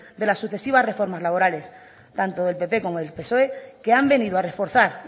de las sucesivas reformas laborales tanto del pp como del psoe que han venido a reforzar